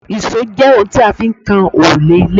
ìṣó jẹ́ oun tí a fi ń kan òrùlé ilé